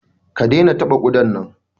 Kai! dena taɓa kudan nan!